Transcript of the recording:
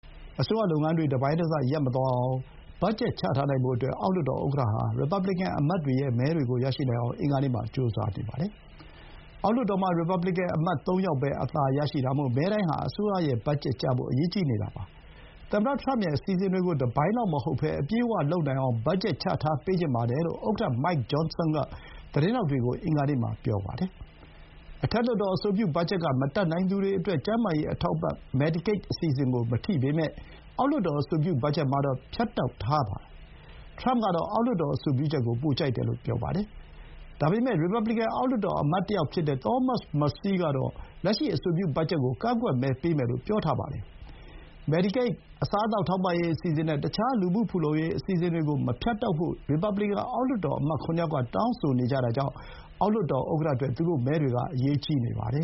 အစိုးရလုပ်ငန်းတွေ တပိုင်းတစ ရပ်မသွားနိုင်အောင် ဘတ်ဂျက် ချထားနိုင်ဖို့အတွက် အောက်လွှတ်တော်ဥက္ကဋ္ဌဟာ ရီပတ်ဘလီကန်အမတ်တွေရဲ့ မဲတွေကို ရနိုင်အောင် အင်္ဂါနေ့မှာ ကြိုးစားနေပါတယ်။ အောက်လွှတ်တော်မှာ ရီပတ်ဘလီကန်အမတ် သုံးယောက်ပဲ အသာရတာမို့ မဲတိုင်းဟာ အစိုးရ ဘတ်ဂျက်ကျဖို့ အရေးကြီးနေတာပါ။ သမ္မတထရမ့်ရဲ့ အစီအစဥ်တွေကို တပိုင်းလောက်မဟုတ်ဘဲ အပြည့်အဝလုပ်နိုင်အောင် ဘတ်ဂျက် ချထားပေးချင်ပါတယ်လို့ ဥက္ကဋ္ဌ Mike Johnson က သတင်းထောက်တွေကို အင်္ဂါနေ့မှာ ပြောပါတယ်။ အထက်လွှတ်တော် အဆိုပြုဘတ်ဂျက်က မတတ်နိုင်သူတွေအတွက် ကျန်းမာရေး အထောက်အပံ့ medicaid အစီအစဥ်ကို မထိပေမဲ့ အောက်လွှတ်တော် အဆိုပြုဘတ်ဂျက်မှာတော့ ဖြတ်တောက်ထားတာပါ။ ထရမ့်ကတော့ အောက်လွှတ်တော် အဆိုပြုချက်ကို ပိုကြိုက်တယ်လို့ ပြောပါတယ်။ ဒါပေမဲ့ ရီပတ်ဘလီကန် အောက်လွှတ်တော် အမတ်တယောက်ဖြစ်တဲ့ Thomas Massie ကတော့ လက်ရှိ အဆိုပြု ဘတ်ဂျက်ကို ကန့်ကွက်မဲပေးမယ်လို့ ပြောထားပါတယ်။ Medicaid, အစားအသောက် ထောက်ပံ့ရေးအစီအစဥ်နဲ့ တခြား လူမှုဖူလုံရေး အစီအစဥ်တွေကို မဖြတ်တောက်ဖို့ ရီပတ်ဘလီကန် အောက်လွှတ်တော်အမတ် ၇ ယောက်က တောင်းဆိုနေကြတာကြောင့် အောက်လွှတ်တော်ဥက္ကဋ္ဌအတွက် သူတို့မဲတွေက အရေးကြီးနေပါတယ